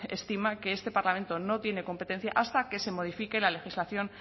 estima que este parlamento no tiene competencia hasta que se modifique la legislación